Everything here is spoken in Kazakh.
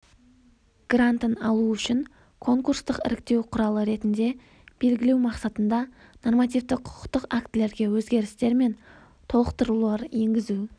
грантын алу үшін конкурстық іріктеу құралы ретінде белгілеу мақсатында нормативті-құқықтық актілерге өзгерістер мен толықтырулар енгізу